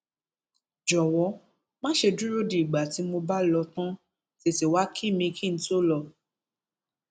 jọwọ má ṣe dúró di ìgbà tí mo bá lọ tán tètè wàá kí mi kí n tóó lọ